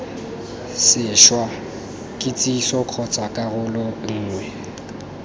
sešwa kitsiso kgotsa karolo nngwe